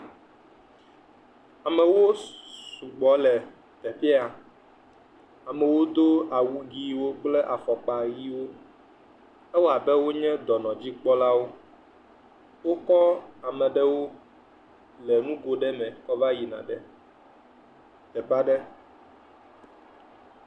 Amewo sugbɔ le afi ya, amewo do awu ʋɛ̃wo kple afɔkpa ʋɛ̃wo, ewɔ abe wonye dɔnɔdzikpɔlawo, wokɔ ame ɖewo le nugo ɖe me kɔ va yina ɖe teƒe aɖe.